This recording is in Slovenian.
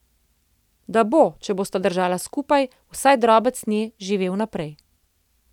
Da bo, če bosta držala skupaj, vsaj drobec nje živel naprej.